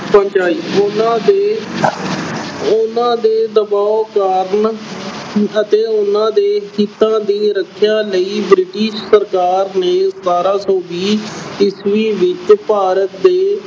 ਪਹੁੰਚਾਈ ਉਹਨਾਂ ਦੇ ਅਹ ਉਹਨਾਂ ਦੇ ਦਬਾਓ ਕਾਰਨ ਅਤੇ ਉਹਨਾਂ ਦੇ ਹਿੱਤਾਂ ਦੀ ਰੱਖਿਆ ਲਈ British ਸਰਕਾਰ ਨੇ ਬਾਰਾਂਂ ਸੌ ਵੀਹ ਈਸਵੀ ਵਿੱਚ ਭਾਰਤ ਦੇ